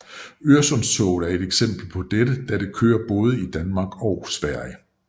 Øresundstoget er et eksempel for dette da det kører både i Danmark og Sverige